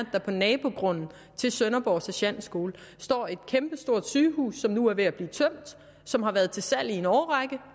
der på nabogrunden til sønderborg sergentskole står et kæmpestort sygehus som nu er ved at blive tømt som har været til salg i en årrække